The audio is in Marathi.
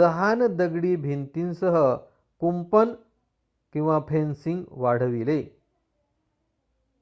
लहान दगडी भिंतीसह कुंपण/फेन्सिंग वाढविले